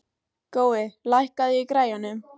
Gói, lækkaðu í græjunum.